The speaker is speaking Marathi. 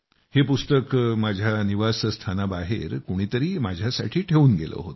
हे पुस्तक माझ्या निवासस्थानाबाहेर कोणीतरी माझ्यासाठी ठेवून गेलं होतं